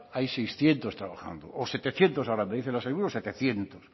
hay seiscientos trabajando o setecientos ahora me dice la sailburu setecientos